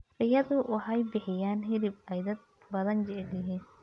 Riyadu waxay bixiyaan hilib ay dad badani jecel yihiin.